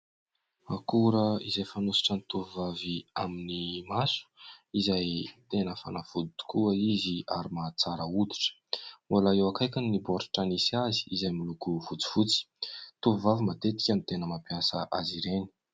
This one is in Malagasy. Akora izay fanosotra tovovavy amin'ny maso izay tena fanafody tokoa izy ary mahatsara hoditra. Mbola eo akaikiny ny baoritra misy azy izay miloko fotsifotsy. Tovovavy matetika ny tena mampiasa azy ireny.